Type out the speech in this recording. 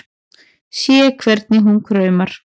Sé hvernig hún kraumar.